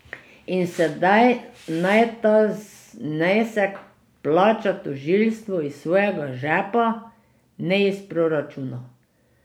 In sedaj naj ta znesek plača tožilstvo iz svojega žepa, ne iz proračuna.